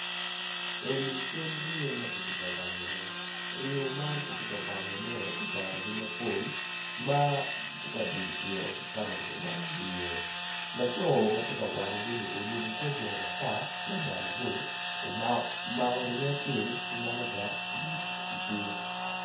Eni cal ringo makitye ka wango ne ringo man kitye kawangone kicanogi mapol matye ka duny ki iro kikama kityeka wangongi i ye laco matye ka wangogi ni oruko kor bongo matar labade bor omako ringo acel kimalaga i cinge.